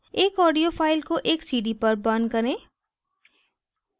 एक audio file को एक cd पर burn करें